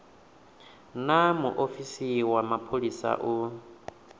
naa muofisi wa mapholisa u